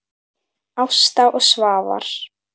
Ásta og Svafar.